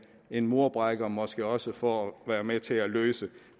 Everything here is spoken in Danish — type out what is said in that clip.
en murbrækker måske også for at være med til at løse